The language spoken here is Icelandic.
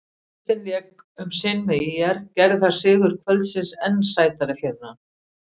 Baldvin lék um sinn með ÍR, gerði það sigur kvöldsins enn sætari fyrir hann?